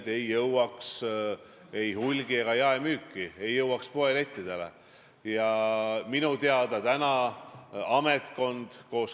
Ja tõesti, minu jaoks, nii nagu eelmise koalitsiooni puhul, on üks selle koalitsiooni eesmärke, üks nurgakive sidus ühiskond.